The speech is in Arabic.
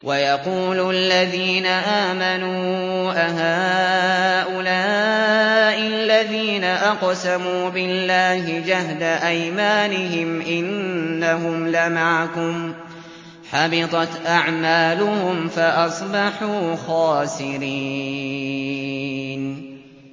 وَيَقُولُ الَّذِينَ آمَنُوا أَهَٰؤُلَاءِ الَّذِينَ أَقْسَمُوا بِاللَّهِ جَهْدَ أَيْمَانِهِمْ ۙ إِنَّهُمْ لَمَعَكُمْ ۚ حَبِطَتْ أَعْمَالُهُمْ فَأَصْبَحُوا خَاسِرِينَ